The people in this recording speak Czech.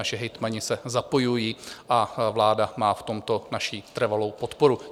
Naši hejtmani se zapojují a vláda má v tomto naši trvalou podporu.